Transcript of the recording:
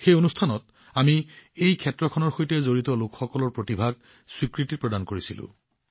সেই কাৰ্যসূচীত আমি এই ক্ষেত্ৰখনৰ সৈতে জড়িত লোকসকলৰ প্ৰতিভাক স্বীকাৰ কৰিছিলোঁ